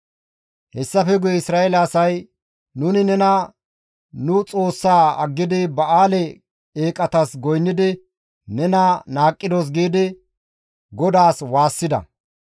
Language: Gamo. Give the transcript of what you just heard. Hessafe guye Isra7eele asay, «Nuni nena nu Xoossaa aggidi Ba7aale eeqatas goynnidi nena qohidos» giidi GODAAS waassida.